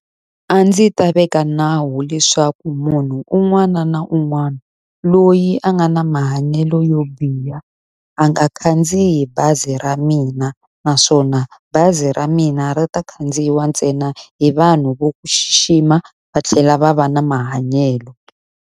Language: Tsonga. A ndzi ta veka nawu leswaku munhu un'wana na un'wana loyi a nga na mahanyelo yo biha a nga khandziyi bazi ra mina. Naswona bazi ra mina ri ta khandziya ntsena hi vanhu va ku xixima va tlhela va va na mahanyelo.